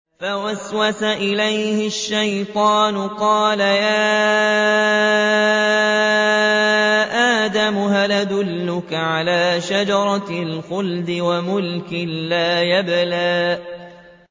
فَوَسْوَسَ إِلَيْهِ الشَّيْطَانُ قَالَ يَا آدَمُ هَلْ أَدُلُّكَ عَلَىٰ شَجَرَةِ الْخُلْدِ وَمُلْكٍ لَّا يَبْلَىٰ